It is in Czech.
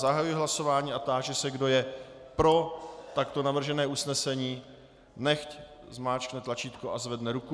Zahajuji hlasování a táži se, kdo je pro takto navržené usnesení, nechť zmáčkne tlačítko a zvedne ruku.